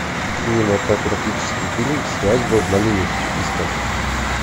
кинематографический фильм свадьба в малиновке искать